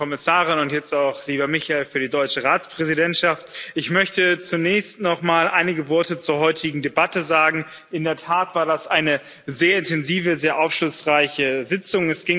Liebe Frau Kommissarin und jetzt auch lieber Michael für die deutsche Ratspräsidentschaft! Ich möchte zunächst nochmal einige Worte zur heutigen Debatte sagen. In der Tat war das eine sehr intensive, sehr aufschlussreiche Sitzung.